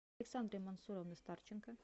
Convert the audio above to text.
александры мансуровны старченко